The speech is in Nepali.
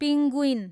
पिङ्गुइन